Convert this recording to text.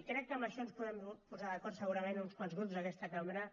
i crec que en això ens podem posar d’acord segurament uns quants grups d’aquesta cambra